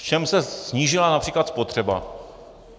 V čem se snížila například spotřeba?